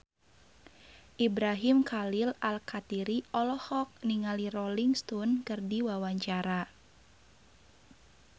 Ibrahim Khalil Alkatiri olohok ningali Rolling Stone keur diwawancara